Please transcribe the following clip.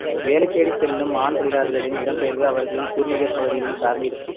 வேலை தேடி செல்லும் ஆண் தொழிலாளர்களின் இடம்பெயர்வு அவர்களின் பூர்வீக பகுதியில்